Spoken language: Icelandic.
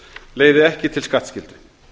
leiði ekki til skattskyldu